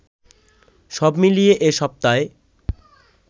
সবমিলিয়ে এ সপ্তায়